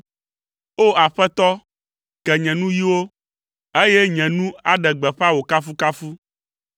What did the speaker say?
O! Aƒetɔ, ke nye nuyiwo, eye nye nu aɖe gbeƒã wò kafukafu.